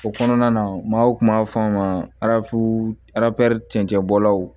O kɔnɔna na maaw kun b'a fɔ a ma arafo aracɛnbɔlaw